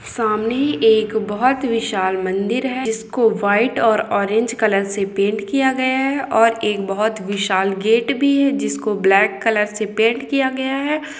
सामने एक बोहोत विशाल मंदिर है जिसको वाइट और ऑरेंज कलर से पेंट किया गया है और एक बोहोत विशाल गेट भी है जिसको ब्लैक कलर से पेंट किया गया हैं।